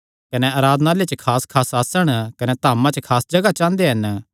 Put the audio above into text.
कने आराधनालयां च खासखास आसण कने धामा च खास जगाह चांह़दे हन